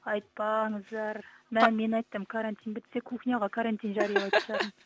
айтпаңыздар мә мен айттым карантин бітсе кухняға карантин жариялайтын шығармын